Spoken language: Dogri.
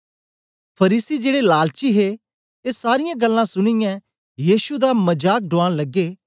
फरीसी जेड़े लालची हे ए सारीयां गल्लां सुनीयै यीशु दा मजाक ढूआन लगे